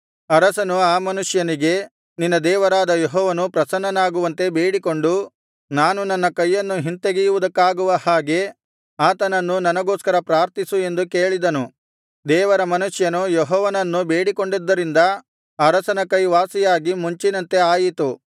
ಅರಸನು ಆ ಮನುಷ್ಯನಿಗೆ ನಿನ್ನ ದೇವರಾದ ಯೆಹೋವನು ಪ್ರಸನನ್ನಾಗುವಂತೆ ಬೇಡಿಕೊಂಡು ನಾನು ನನ್ನ ಕೈಯನ್ನು ಹಿಂತೆಗೆಯುವುದಕ್ಕಾಗುವ ಹಾಗೆ ಆತನನ್ನು ನನಗೋಸ್ಕರ ಪ್ರಾರ್ಥಿಸು ಎಂದು ಕೇಳಿದನು ದೇವರ ಮನುಷ್ಯನು ಯೆಹೋವನನ್ನು ಬೇಡಿಕೊಂಡಿದ್ದರಿಂದ ಅರಸನ ಕೈ ವಾಸಿಯಾಗಿ ಮುಂಚಿನಂತೆ ಆಯಿತು